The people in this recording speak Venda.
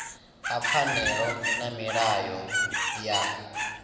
ha pfanelo na milayo ya